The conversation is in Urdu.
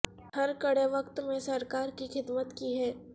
ہر کڑے وقت میں سرکار کی خدمت کی ہے